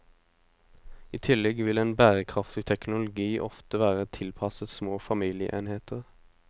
I tillegg vil en bærekraftig teknologi ofte være tilpasset små familieenheter.